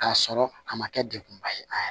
K'a sɔrɔ a ma kɛ degkunba ye a